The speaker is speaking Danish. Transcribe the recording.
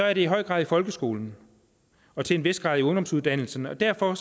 er det i høj grad i folkeskolen og til en vis grad i ungdomsuddannelserne og derfor